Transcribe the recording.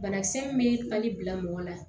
Banakisɛ min bɛ bali bila mɔgɔ la